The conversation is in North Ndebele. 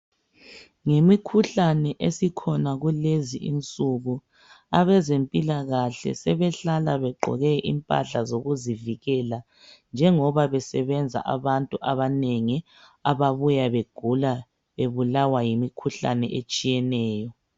Ngemikhuhlane esikhona kulezi insuku abezempilakahle sebehlala begqoke impahla zokuzivikela njengoba besebenza abantu abanengi ababuya begula bebulawa yimukhuhlane etshiyeneyo.